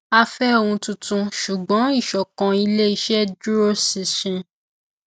a fẹ ohun tuntun ṣùgbọn ìsọkan iléiṣẹ dúró ṣinṣin